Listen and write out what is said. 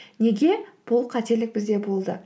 неге бұл қателік бізде болды